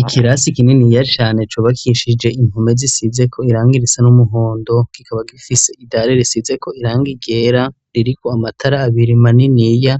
Ikirasi kininiya cane cubakishije inpome zisizeko irangi risa n'umuhondo, kikaba gifise idare risizeko irangi ryera ririko amatara abiri maniniya,